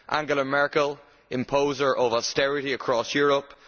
Angela Merkel, imposer of austerity across Europe